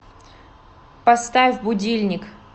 поставь будильник